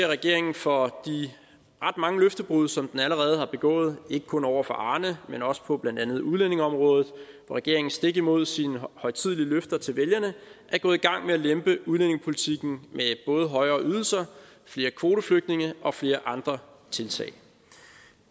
regeringen for de ret mange løftebrud som den allerede har begået ikke kun over for arne men også på blandt andet udlændingeområdet hvor regeringen stik imod sine højtidelige løfter til vælgerne er gået i gang med at lempe udlændingepolitikken med både højere ydelser flere kvoteflygtninge og flere andre tiltag